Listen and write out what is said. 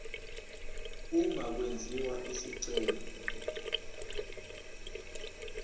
uma kwenziwa isicelo